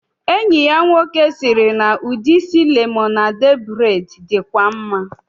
Enyi ya nwoke siri na udi isi lemonade braid dikwa maa